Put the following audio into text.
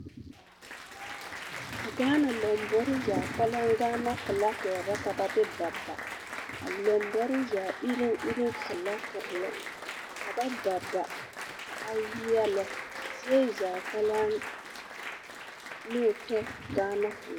A Gaana lambori filaakiri la ka ba de baba, a lambori la lambori zaa ireŋ ireŋ filaakiri la ka ba baba ka a yeɛlɛ zie zaa kpeleŋ ne o tɔ Gaana filaakiri la.